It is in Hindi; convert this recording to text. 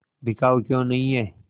बिकाऊ क्यों नहीं है